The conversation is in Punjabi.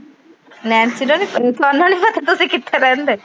ਨੈਨਸੀ ਨੂੰ ਨਹੀਂ ਤੁਹਾਨੂੰ ਨੀ ਪਤਾ ਤੁਸੀਂ ਕਿੱਥੇ ਰਹਿੰਦੇ?